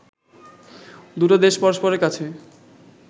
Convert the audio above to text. দুটো দেশ পরষ্পরের কাছে